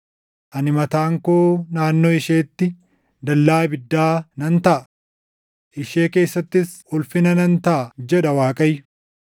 Ani mataan koo naannoo isheetti dallaa ibiddaa nan taʼa; ishee keessattis ulfina nan taʼa’ jedha Waaqayyo.